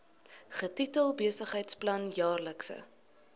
getitel besigheidsplan jaarlikse